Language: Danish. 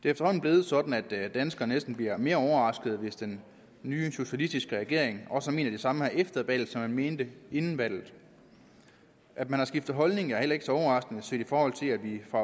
efterhånden blevet sådan at danskerne næsten bliver mere overrasket hvis den nye socialistiske regering også mener det samme her efter valget som man mente inden valget at man har skiftet holdning er heller ikke så overraskende set i forhold til at vi fra